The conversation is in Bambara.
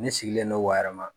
Ne sigilen don Wayɛrɛma